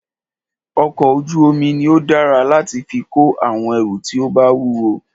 ọkọ̀ ojú omi ní o dára láti fí kó àwọn ẹrù tí o bá wúwo.